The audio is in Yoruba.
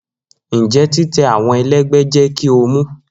Njẹ titẹ awọn ẹlẹgbẹ jẹ ki o mu?